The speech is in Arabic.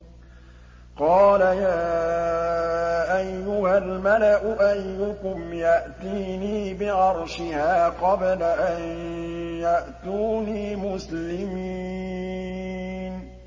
قَالَ يَا أَيُّهَا الْمَلَأُ أَيُّكُمْ يَأْتِينِي بِعَرْشِهَا قَبْلَ أَن يَأْتُونِي مُسْلِمِينَ